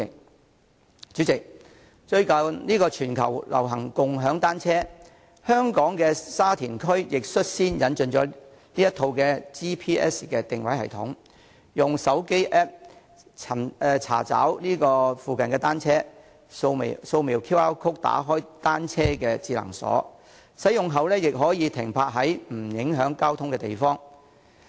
代理主席，最近全球流行共享單車，香港的沙田區亦率先引進了這套 GPS 全球定位系統，用戶可以使用手機 App 查找附近的單車，掃描 QR code 打開單車的智能鎖，使用後可以把單車停泊在不影響交通的地方。